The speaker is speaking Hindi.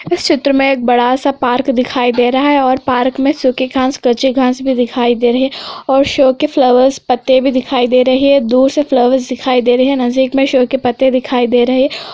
इस चित्र में एक बड़ा सा पार्क दिखाई दे रहा है और पार्क में सुखी घास कच्ची घास भी दिखाई दे रही है और शो के फ्लावर्स पत्ते भी दिखाई दे रही है दूर से फ्लावर्स दिखाई दे रही है नजदीक में शो के पत्ते दिखाई दे रहे है ]